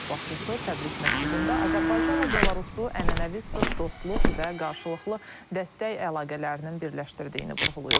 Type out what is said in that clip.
Dövlət başçısı təbrik məktubunda Azərbaycanla Belarusun ənənəvi sıx dostluq və qarşılıqlı dəstək əlaqələrinin birləşdirdiyini vurğulayıb.